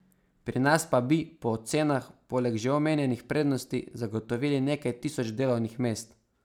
Pri nas pa bi, po ocenah, poleg že omenjenih prednosti zagotovili nekaj tisoč delovnih mest.